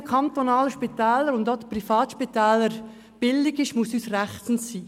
Was unseren kantonalen Spitälern und auch Privatspitälern billig ist, muss uns recht sein.